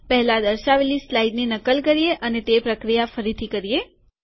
પહેલા દર્શાવેલી સ્લાઇડની નકલ કરીએ અને તે પ્રકિયા ફરીથી કરીએ